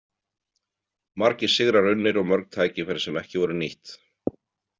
Margir sigrar unnir og mörg tækifæri sem ekki voru nýtt.